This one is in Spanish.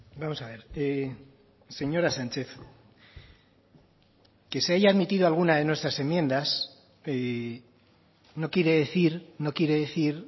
vamos a ver señora sánchez que se haya admitido alguna de nuestras enmiendas no quiere decir no quiere decir